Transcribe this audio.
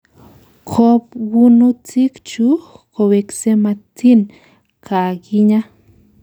Kobwonutik chu kowekse matin kakinya.